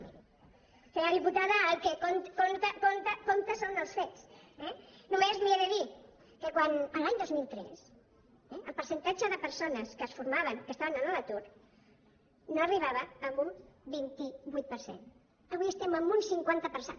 miri senyora diputada el que compta són els fets eh només li he de dir que l’any dos mil tres el percentatge de persones que es formaven que estaven a l’atur no arribava a un vint vuit per cent avui estem en un cinquanta per cent